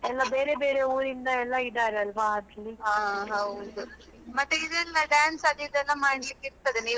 ಎಲ್ಲಾ ಬೇರೆ ಬೇರೆ ಊರಿಂದ ಎಲ್ಲಾ ಇದ್ದಾರಲ್ವಾ?